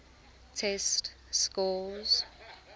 test scores